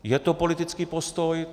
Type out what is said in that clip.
Je to politický postoj.